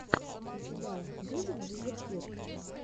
у тебя будет дезертир